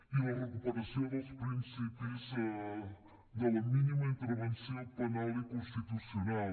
i la recuperació dels principis de la mínima intervenció penal i constitucional